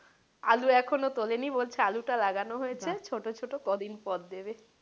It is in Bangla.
আলু এখনও তোলেনি বলছে আলু টা লাগানো হয়েছে ছোটো ছোটো কদিন পর দেবে।